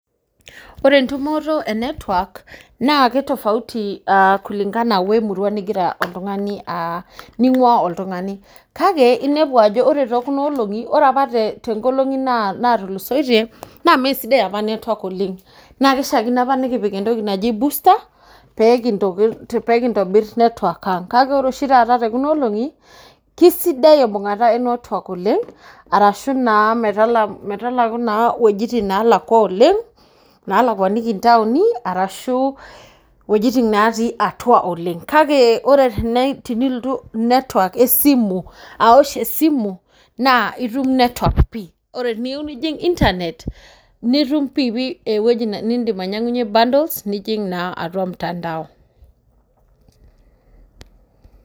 ore entumoto e network naa ki tofauti kulingana we murua nigira oltung'ani aa, ninng'uaa oltungani. kake inepu aja ore kuna olong'i .ore apa tenkolong'i, naatulusoitie, naa mme sidai apa, network oleng, naa kishaakino apa pee kipik entoki naji, booster pee kintobir network ang, kake ore oshi taata kuna olong'i, kisidai embung'ata e network oleng. arashu metaku naa wuejitin naalakua oleng' naalakuaniki ntaoni, arashu wuejitin natii atua aoleng. kake ore tenilotu, network esimu, aosh esimu, naa itum network pii, teniyieu nijing; internet nitum pii pii ewuejji nitum ainyiang'unye bundles nijing naa atua mtandao.